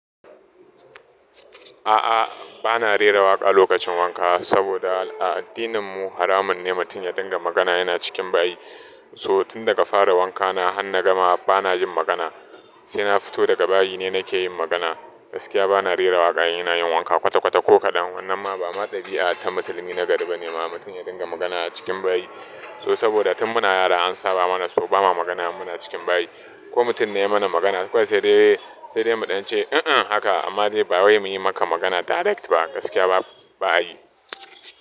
A'a, bana rera waƙa lokacin wanka saboda a addininmu haramun ne mutum ya dinga magana yana cikin bayi. So tun daga fara wankana har na gama bana yin magana, sai na fito daga bayi ne nake yin magana. Gaskiya bana rera waƙa in ina yin wanka kwata kwata ko kaɗan. Wannan ma ba ma ɗabi'a ta musulmi na gari ba ne, ma mutum ya dinga magana a cikin bayi. To saboda tun muna yara an saba mana so ba ma magana in muna cikin bayi. Ko mutum ne ya mana magana ko sai dai, sai dai mu ɗan ce, "e'e haka", amma dai ba wai muyi maka magana direct ba, gaskiya ba, ba a yi.